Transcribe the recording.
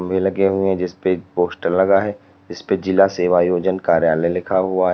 खंबे लगे हुए जिसपे पोस्टर लगा है जिसपे जिला सेवायोजन कार्यालय लिखा हुआ है।